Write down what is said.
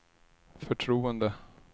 förtroende